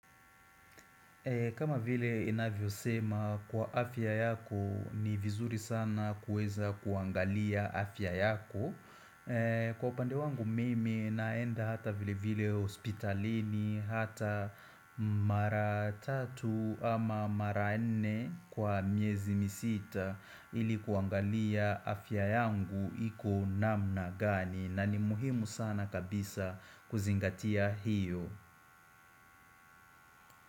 Kama vile inavyo sema kwa afya yako ni vizuri sana kuweza kuangalia afya yako Kwa upande wangu mimi naenda hata vile vile hospitalini hata mara 3 ama mara 4 kwa miezi misita Ili kuangalia afya yangu iko namna gani na ni muhimu sana kabisa kuzingatia hiyo.